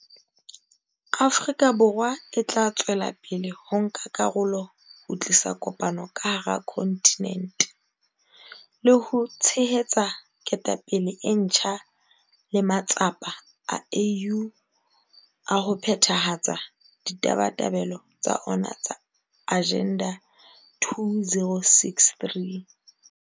Afrika Borwa e tla tswela pele ho nka karolo ho tlisa kopano ka hara kontinente, le ho tshehetsa ketapele e ntjha le matsapa a AU a ho phethahatsa ditabatabelo tsa ona tsa Agenda 2063.